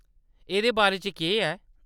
एह्‌‌‌दे बारे च केह्‌‌ ऐ ?